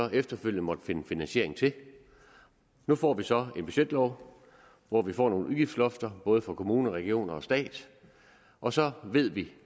vi efterfølgende måtte finde finansiering til nu får vi så en budgetlov hvor vi får nogle udgiftslofter både for kommuner regioner og stat og så ved vi